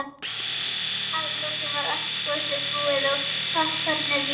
Að lokum var allt gosið búið og poppkornið líka.